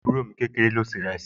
Ọmọ àbúrò mi lóbìnrin ló se ìrẹsì